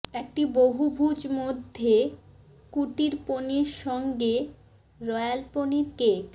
একটি বহুভুজ মধ্যে কুটির পনির সঙ্গে রয়াল পনির কেক